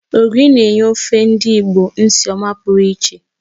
Ogiri na-enye ofe ndị Igbo nsị ọma pụrụ iche